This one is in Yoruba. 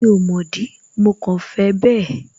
Mi ò mọ̀ dí, mo kàn fẹ bẹ́ẹ̀